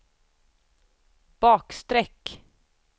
bakstreck